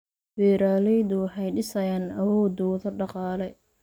Beeraleydu waxay dhisayaan awoodooda dhaqaale.